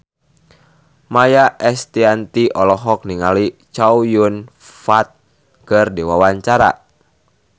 Maia Estianty olohok ningali Chow Yun Fat keur diwawancara